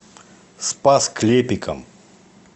спас клепикам